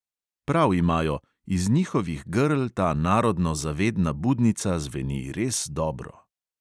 Prav imajo: iz njihovih grl ta narodno zavedna budnica zveni res dobro.